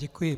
Děkuji.